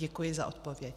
Děkuji za odpověď.